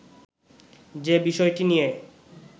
যে বিষয়টি নিয়ে